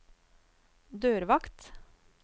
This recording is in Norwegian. dørvakt